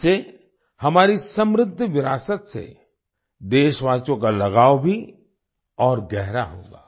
इससे हमारी समृद्ध विरासत से देशवासियों का लगाव भी और गहरा होगा